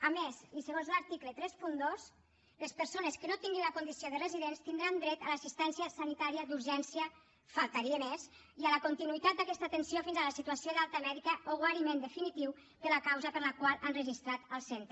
a més i segons l’article trenta dos les persones que no tinguin la condició de residents tindran dret a l’assistència sanitària d’urgència només faltaria i a la continuïtat d’aquesta atenció fins a la situació d’alta mèdica o guariment definitiu de la causa per la qual han registrat el centre